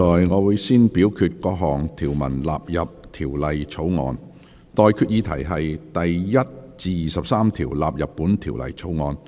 我現在向各位提出的待決議題是：第1至23條納入本條例草案。